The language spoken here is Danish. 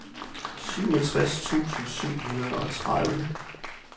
syvogtres tusind syv hundrede og tredive